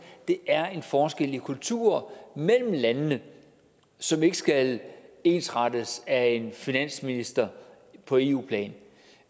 er en forskel i kultur mellem landene som ikke skal ensrettes af en finansminister på eu plan